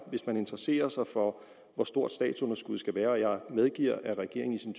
hvis man interesserer sig for hvor stort statsunderskuddet skal være jeg medgiver at regeringen i sin